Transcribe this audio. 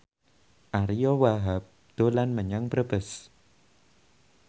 Ariyo Wahab dolan menyang Brebes